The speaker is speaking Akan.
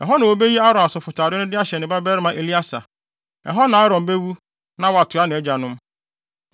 Ɛhɔ na wubeyi Aaron asɔfotade no de ahyɛ ne babarima Eleasar. Ɛhɔ na Aaron bewu na watoa nʼagyanom.”